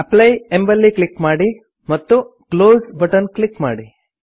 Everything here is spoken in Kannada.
ಅಪ್ಲೈ ಎಂಬಲ್ಲಿ ಕ್ಲಿಕ್ ಮಾಡಿ ಮತ್ತು ಕ್ಲೋಸ್ ಬಟನ್ ಕ್ಲಿಕ್ ಮಾಡಿ